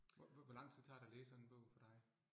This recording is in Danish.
Hvor lang tid tager det at læse sådan en bog for dig